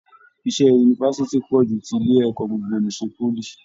Iṣẹ yunifásítì pọ jù tí ilé ẹ̀kọ́ gbogbo n'isè poly.